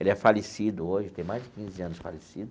Ele é falecido hoje, tem mais de quinze anos de falecido.